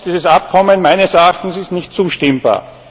Ansonsten ist dieses Abkommen meines Erachtens nicht zustimmbar.